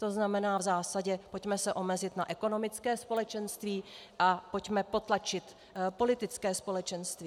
To znamená v zásadě - pojďme se omezit na ekonomické společenství a pojďme potlačit politické společenství.